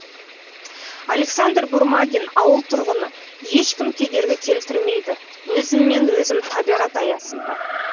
александр бурмагин ауыл тұрғыны ешкім кедергі келтірмейді өзіммен өзім табиғат аясында